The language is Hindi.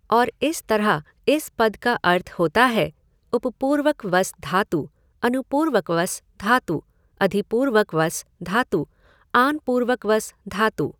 और इस तरह इस पद का अर्थ होता है उपपूर्वकवस धातु अनुपूर्वकवस धातु अधिपूर्वकवस धातु आनपूर्वकवस् धातु।